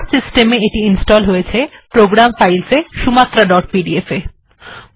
তাহলে আমার কম্পিউটার এ এটি প্রোগ্রাম files এ ইনস্টল হয়েছে সুমাত্রা ডট পিডিএফ